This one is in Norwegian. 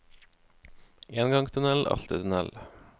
En gang tunnel, alltid tunnel.